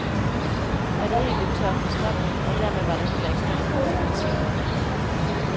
Batteriet løb tør for strøm, og dermed var der heller ikke strøm nok til benzinpumpen.